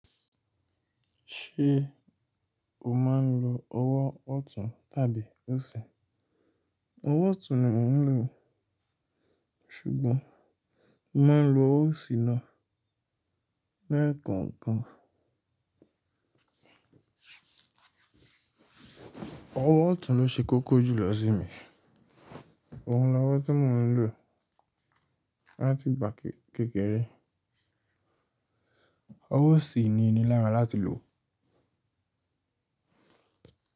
Ṣé o máa ń lo ọwọ́ ọ̀tún tàbí òsì? Ọwọ́ ọ̀tún ni mò ń lò, ṣùgbọ́n mò maa ń lo owo òsì na lẹ̀kọ̀ọ̀kan. Ọwọ́ ọ̀tún ló ṣe kókó jùlọ sí mi. Óun ni ọwọ́ tí mò ń lò láti igbà kékeré. Ọwọ́ òsì ni í ní lára láti lò.